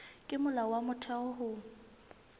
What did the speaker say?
ke molao wa motheo ho